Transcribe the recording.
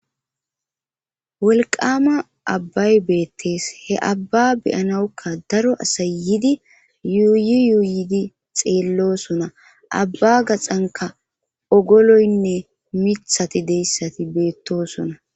wolqama abbay beettees he abba beyanawukka daro asay yidi yuuyi yuuyidi xeellosona abba gaxanka ogoloynne mithati deyssati beettosona